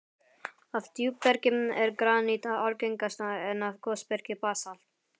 Af djúpbergi er granít algengast, en af gosbergi basalt.